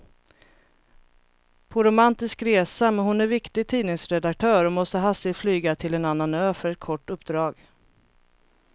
På romantisk resa, men hon är viktig tidningsredaktör och måste hastigt flyga till en annan ö för ett kort uppdrag.